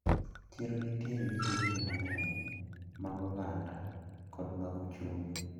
Chiro nitiere gi shuguli mang`eny mag oganda kod mag uchumi.